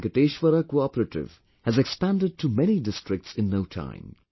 Today Venkateshwara CoOperative has expanded to many districts in no time